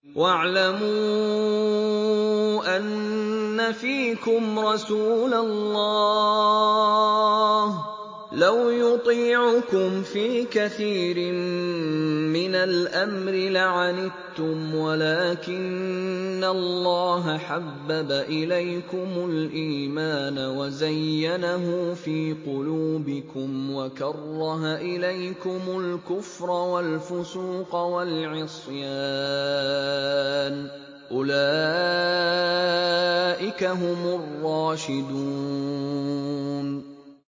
وَاعْلَمُوا أَنَّ فِيكُمْ رَسُولَ اللَّهِ ۚ لَوْ يُطِيعُكُمْ فِي كَثِيرٍ مِّنَ الْأَمْرِ لَعَنِتُّمْ وَلَٰكِنَّ اللَّهَ حَبَّبَ إِلَيْكُمُ الْإِيمَانَ وَزَيَّنَهُ فِي قُلُوبِكُمْ وَكَرَّهَ إِلَيْكُمُ الْكُفْرَ وَالْفُسُوقَ وَالْعِصْيَانَ ۚ أُولَٰئِكَ هُمُ الرَّاشِدُونَ